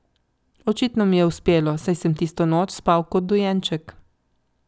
Očitno mi je uspelo, saj sem tisto noč spal kot dojenček.